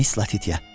Miss Latitiya.